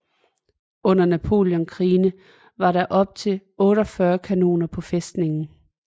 Under napoleonskrigene var der op til 48 kanoner på fæstningen